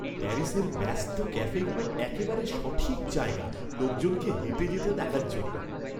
প্যারিসের ব্যস্ত ক্যাফেগুলো একেবারে সঠিক জায়গা লোকজনকে হেঁটে যেতে দেখার জন্য।